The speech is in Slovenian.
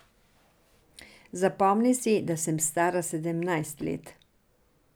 Zapomni si, da sem stara sedemnajst let.